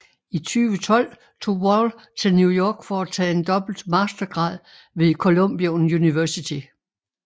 I 2012 tog Wall til New York for at tage en dobbelt mastergrad ved Columbia University